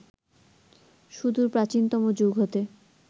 সুদূর প্রাচীনতম যুগ হতে